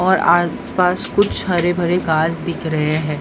और आसपास कुछ हरे भरे घास दिख रहे हैं।